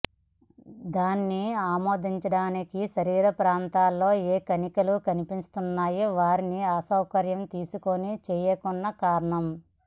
దాని ఆమోదానికి శరీర ప్రాంతాన్ని ఏ కణితుల కనిపిస్తున్నాయి వారు అసౌకర్యం తీసుకుని చేయకున్నా కారణం